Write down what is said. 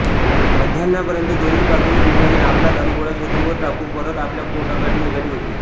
मध्याह्नापर्यंत दोन्ही बाजूंची विमाने आपला दारुगोळा शत्रूवर टाकून परत आपल्या गोटाकडे निघाली होती